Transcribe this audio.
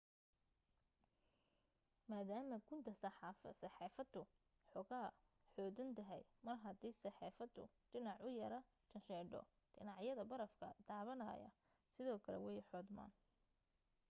maadaama gunta safeexaddu xoogaa xoodan tahay mar hadii safeexaddu dhinac u yara janjeedho dhinacyada barafka taabanaya sidoo kale way xoodmaan